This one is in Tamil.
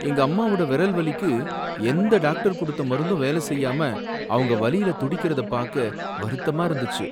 எங்கம்மாவோட விரல் வலிக்கு எந்த டாக்டர் குடுத்த மருந்தும் வேல செய்யாம அவங்க வலியில துடிக்கரத பாக்க வருத்தமா இருந்துச்சு.